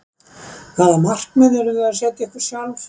Hvaða markmið eruð þið að setja ykkur sjálfir?